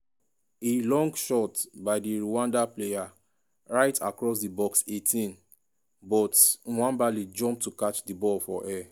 a long shot by di rwanda player right across di box 18 but nwabali jump to catch di ball for air.